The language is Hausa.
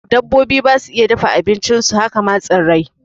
Dabbobi basu iya dafa abincin su, haka ma tsirrai